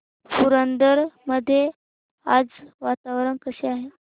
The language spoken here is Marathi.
पुरंदर मध्ये आज वातावरण कसे आहे